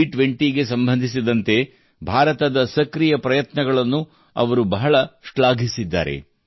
G20 ಗೆ ಸಂಬಂಧಿಸಿದಂತೆ ಭಾರತದ ಸಕ್ರಿಯ ಪ್ರಯತ್ನಗಳನ್ನು ಅವರು ಬಹಳ ಶ್ಲಾಘಿಸಿದ್ದಾರೆ